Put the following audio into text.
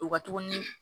U ka tuguni